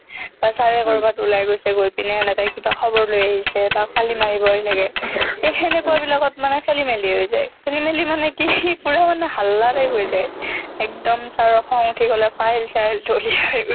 বা sir এ ক'ৰবাত ওলাই গৈছে গৈ পিনে এনেকুৱা কিবা খবৰ লৈ আহিছে বা কালি মাৰিবই লাগে সেই হেনেকুৱাবিলাকত মানে খেলিমেলি হৈ যায় খেলিমেলি মানে কি পুৰা মানে হাল্লা type হৈ যায় একদম sir ৰ খং উঠি গ'লে file চাইল দলিয়াই